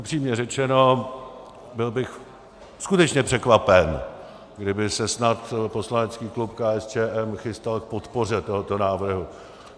Upřímně řečeno, byl bych skutečně překvapen, kdyby se snad poslanecký klub KSČM chystal k podpoře tohoto návrhu.